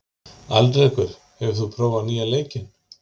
Alrekur, hefur þú prófað nýja leikinn?